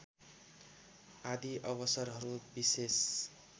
आदि अवसरहरू विशेष